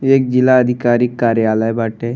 एक जिला अधिकारी कार्यालय बाटे।